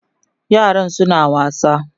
yaran suna wasa